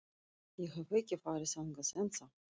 Ég hef ekki farið þangað ennþá.